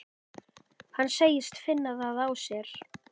Hann segist finna það á sér.